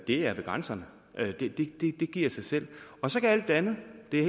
er ved grænserne det giver sig selv og så kan alt det andet det er